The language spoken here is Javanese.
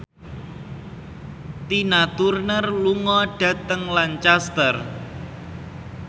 Tina Turner lunga dhateng Lancaster